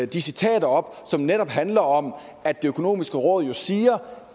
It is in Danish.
de citater op som netop handler om at det økonomiske råd siger